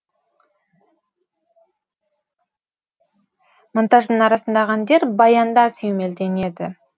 монтаждың арасындағы әндер баянда сүйемелденеді